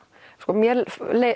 mér